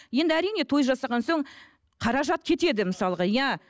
енді әрине той жасаған соң қаражат кетеді мысалға иә